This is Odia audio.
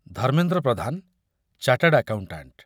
Dharmendra Pradhan, chartered accountant